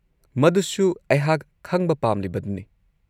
ꯃꯗꯨꯁꯨ ꯑꯩꯍꯥꯛ ꯈꯪꯕ ꯄꯥꯝꯂꯤꯕꯗꯨꯅꯤ꯫